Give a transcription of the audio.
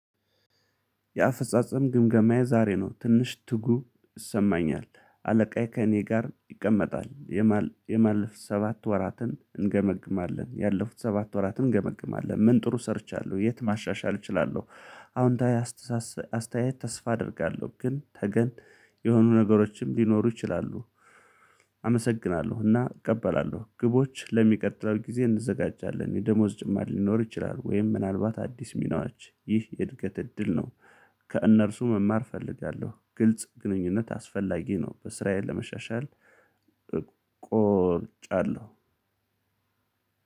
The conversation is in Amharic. የአፈጻጸም ግምገማዬ ዛሬ ነው ትንሽ ትጉ ይሰማኛል አለቃዬ ከእኔ ጋር ይቀመጣል። የማለፍ ሰባት ወራትን እንገመግማለን ያለፉት ሰባት ወራትን እንገመግማለን ምን ጥሩ ሰርቻለሁ የት ማሻሻል እችላለሁ? አዎንታዊ አስተሳሰ አስተያየት ተስፋ አደርጋለሁ ግን ነገን የሆኑ ነገሮችም ሊኖሩ ይችላሉ። አመሰግናለሁ እና እቀበላለሁ ግቦች ለሚቀጥለው ጊዜ እንዘጋጃለን። የደሞዝ ጭማሪ ሊኖር ይችላል? ወይም ምናልባት አዲስ ሚናዎች ይህ የእድገት እድል ነው። ከእነርሱ መማር እፈልጋለሁ ግልጽ ግንኙነት አስፈላጊ ነው። በስራዬ ለመሻሻል ቆርጫለሁ።